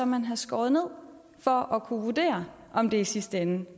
man har skåret ned for at kunne vurdere om det i sidste ende